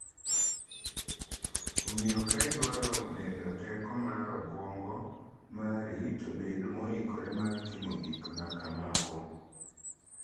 Omiyo ka idwaro medo teko mar obwongo mari to bed moikore mar timo gik ma kamago.